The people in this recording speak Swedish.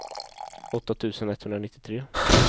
åtta tusen etthundranittiotre